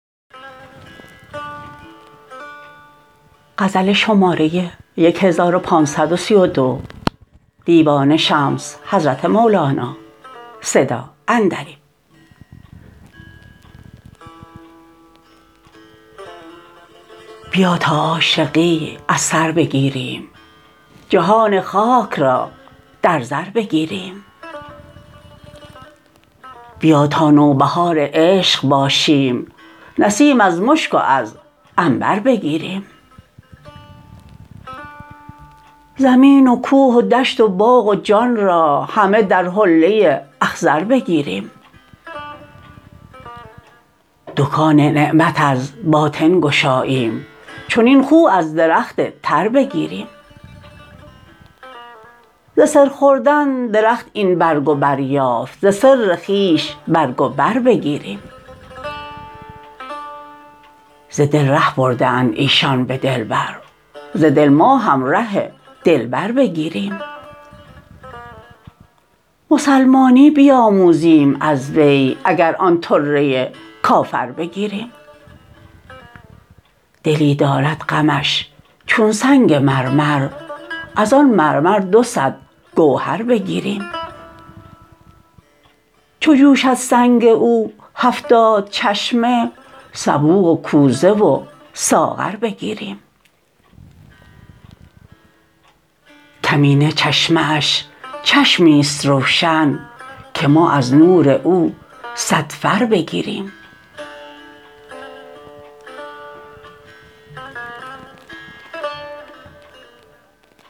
بیا تا عاشقی از سر بگیریم جهان خاک را در زر بگیریم بیا تا نوبهار عشق باشیم نسیم از مشک و از عنبر بگیریم زمین و کوه و دشت و باغ و جان را همه در حله اخضر بگیریم دکان نعمت از باطن گشاییم چنین خو از درخت تر بگیریم ز سر خوردن درخت این برگ و بر یافت ز سر خویش برگ و بر بگیریم ز دل ره برده اند ایشان به دلبر ز دل ما هم ره دلبر بگیریم مسلمانی بیاموزیم از وی اگر آن طره کافر بگیریم دلی دارد غمش چون سنگ مرمر از آن مرمر دو صد گوهر بگیریم چو جوشد سنگ او هفتاد چشمه سبو و کوزه و ساغر بگیریم کمینه چشمه اش چشمی است روشن که ما از نور او صد فر بگیریم